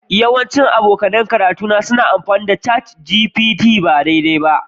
Yawancin abokan karatuna suna amfani da ChatGPT ba daidai ba